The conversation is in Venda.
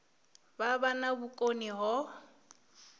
vha vha na vhukoni ho